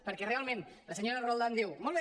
perquè realment la senyora roldán diu molt bé